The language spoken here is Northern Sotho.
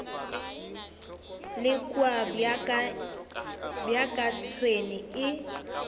le kua bjaka tšhwene e